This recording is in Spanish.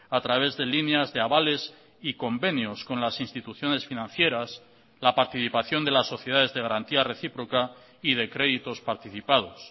a través de líneas de avales y convenios con las instituciones financieras la participación de las sociedades de garantía recíproca y de créditos participados